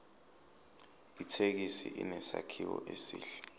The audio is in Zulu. ithekisi inesakhiwo esihle